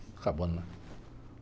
Está acabando, não é?